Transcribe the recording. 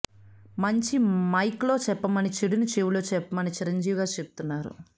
మంచి మైక్లో చెప్పమని చెడుని చెవిలో చెప్పమని చిరంజీవి గారు చెప్తున్నారు